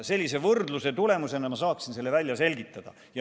Sellise võrdluse tulemusena ma saaksin selle välja selgitada.